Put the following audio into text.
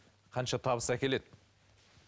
қанша табыс әкеледі